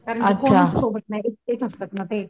कारण कोणाचं सोबत नाही एकटेच असतात ना ते